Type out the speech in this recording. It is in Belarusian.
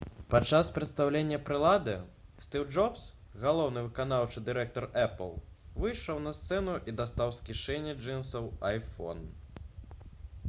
падчас прадстаўлення прылады стыў джобс галоўны выканаўчы дырэктар «эпл» выйшаў на сцэну і дастаў з кішэні джынсаў iphone